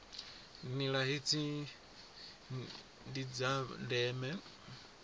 nila hedzi ndi dza ndeme